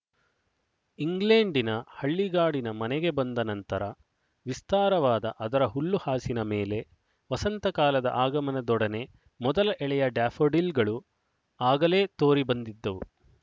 ಇಂಗ್ಲೆಂಡಿನ ಹಳ್ಳಿಗಾಡಿನ ಮನೆಗೆ ಬಂದ ನಂತರ ವಿಸ್ತಾರವಾದ ಅದರ ಹುಲ್ಲುಹಾಸಿನ ಮೇಲೆ ವಸಂತ ಕಾಲದ ಆಗಮನದೊಡನೆ ಮೊದಲ ಎಳೆಯ ಡ್ಯಾಫೋಡಿಲ್‍ಗಳು ಆಗಲೇ ತೋರಿ ಬಂದಿದ್ದವು